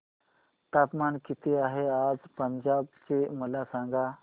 तापमान किती आहे आज पंजाब चे मला सांगा